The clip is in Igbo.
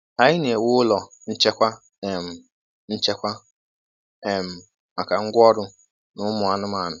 Anyị na-ewu ụlọ nchekwa um nchekwa um maka ngwa ọrụ na ụmụ anụmanụ.